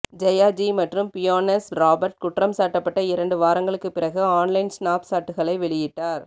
Jaya Z மற்றும் Beyonce Robert குற்றம் சாட்டப்பட்ட இரண்டு வாரங்களுக்கு பிறகு ஆன்லைன் ஸ்னாப்ஷாட்களை வெளியிட்டார்